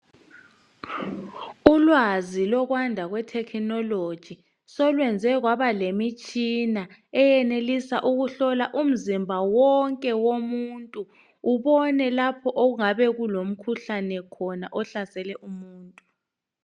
Ulwazi lokwanda kwethekinoloji solwenze kwaba lemitshina eyenelisa ukuhlola umzimba wonke womuntu ubone lapho okungabe kulomkhuhlane khona ohlasele umuntu.